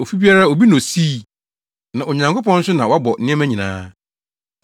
Ofi biara obi na osii. Na Onyankopɔn nso na wabɔ nneɛma nyinaa.